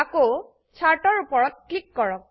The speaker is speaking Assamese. আকৌ চাৰ্ট এৰ উপৰত ক্লিক কৰক